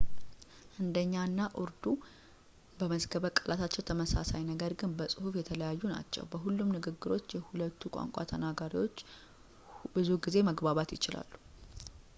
ህንዲኛ እና ኡርዱ በመዝገበ ቃላታቸው ተመሳሳይ ነገር ግን በጽሁፍ የተለያዩ ናቸው በሁሉም ንግግሮች የሁለቱም ቋንቋ ተናጋሪዎች ብዙ ጊዜ መግባባት ይችላሉ